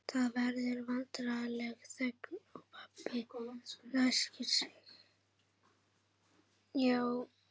Það verður vandræðaleg þögn og pabbi ræskir sig.